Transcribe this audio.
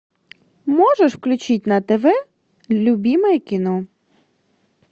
можешь включить на тв любимое кино